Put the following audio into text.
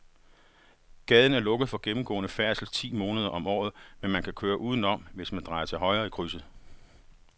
Gaden er lukket for gennemgående færdsel ti måneder om året, men man kan køre udenom, hvis man drejer til højre i krydset.